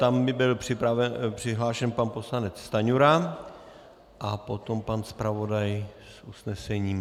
Tam by byl přihlášen pan poslanec Stanjura a potom pan zpravodaj s usnesením.